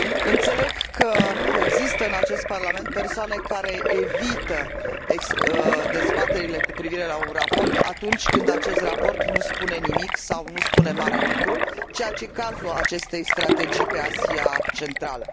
Înțeleg că există în acest Parlament persoane care evită dezbaterile cu privire la un raport atunci când acest raport nu spune nimic sau nu spune mare lucru, ceea ce este cazul acestei strategii privind Asia Centrală.